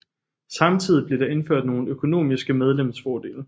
Samtidig blev der indført nogle økonomiske medlemsfordele